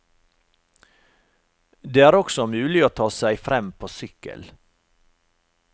Det er også mulig å ta seg frem på sykkel.